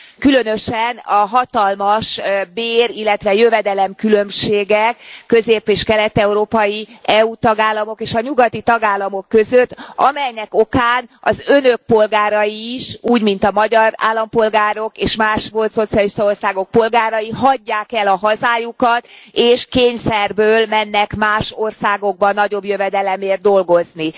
Különösen a hatalmas bér illetve jövedelemkülönbségek a közép és kelet európai EU tagállamok és a nyugati tagállamok között, amelynek okán az Önök polgárai is úgy, mint a magyar állampolgárok, és más, volt szocialista országok polgárai elhagyják a hazájukat, és kényszerből mennek más országokba nagyobb jövedelemért dolgozni.